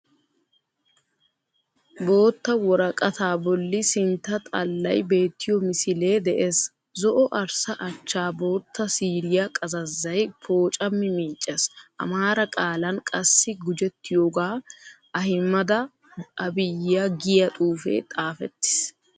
Bootta woraaqata boolli sintta xaallayi beettiyo misiilee de"ees. zo"o arssa achchaa bootta siiriya qazazzayi pooccami miiccees. Amaara qaalan qaassi guujjettiyooga Ahiimada Abiiya giiya xuufe xaafeetiis.